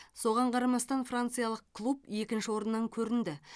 соған қарамастан франциялық клуб екінші орыннан көрінді